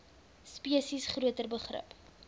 spesies groter begrip